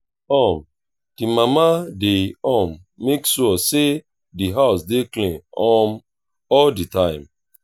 um the mama de um make sure say di house dey clean um all the time